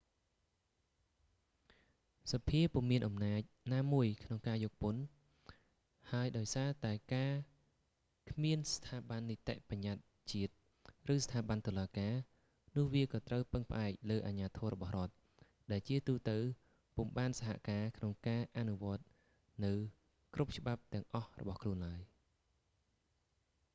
សភាពុំមានអំណាចណាមួយក្នុងការយកពន្ធ ហើយដោយសារតែការគ្មានស្ថាប័ននីតិប្បញ្ញត្តិជាតិ ឬស្ថាប័នតុលាការ នោះវាក៏ត្រូវពឹងផ្អែកលើអាជ្ញាធររបស់រដ្ឋ ដែលជាទូទៅពុំបានសហការក្នុងការអនុវត្តន៍នូវគ្រប់ច្បាប់ទាំងអស់របស់ខ្លួនឡើយ